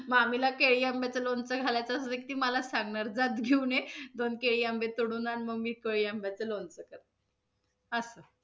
मामीला केळी आंब्याच लोणचं घालायचं असल, की ती मला सांगणार जा घेऊन ये, दोन कैरी आंबे तोडून आण, मग मी कैरी आंब्याच लोणचं करते. असं